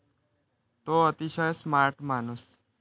तो अतिशय स्मार्ट माणूस.